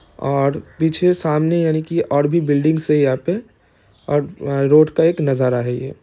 और पीछे सामने यानि की और भी बिल्डिंग्स है। यहाँ पे और रोड का एक नजारा है। ये--